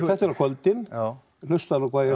þetta er á kvöldin hlustaðu nú hvað ég